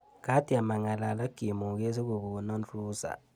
Katyem ang'alal ak chemoget sikokona ruhusa.